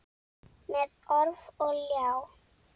Með orf og ljá.